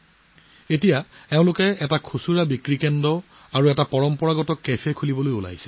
এতিয়া এই লোকসকলেও খুচুৰা বিপণী আৰু পৰম্পৰাগত কেফে এখন খুলিবলৈ সাজু হৈছে